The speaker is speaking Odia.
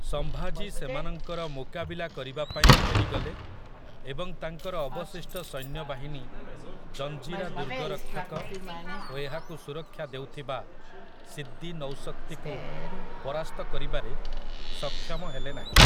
ସମ୍ଭାଜୀ ସେମାନଙ୍କର ମୁକାବିଲା କରିବା ପାଇଁ ଫେରିଗଲେ ଏବଂ ତାଙ୍କର ଅବଶିଷ୍ଟ ସୈନ୍ୟବାହିନୀ ଜଞ୍ଜିରା ଦୁର୍ଗରକ୍ଷକ ଓ ଏହାକୁ ସୁରକ୍ଷା ଦେଉଥିବା ସିଦ୍ଦି ନୌଶକ୍ତିକୁ ପରାସ୍ତ କରିବାରେ ସକ୍ଷମ ହେଲେ ନାହିଁ ।